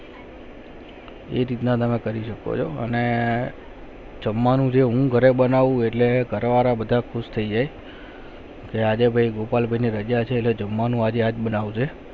એ રીત ના હમે કરી રહ્યા અને જમવાનું જે હું કરે હું બનવું ઘર વાળા બધા ખુશ થયી છે કી આજા ભાઈ ગોપાલ ભાઈ ને જમવાનું બનાયી છે